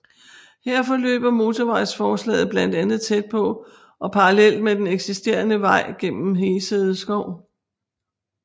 Her forløber motorvejsforslaget blandt andet tæt på og parallelt med den eksisterede vej gennem Hesede Skov